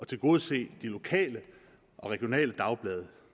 tilgodese de lokale og regionale dagblade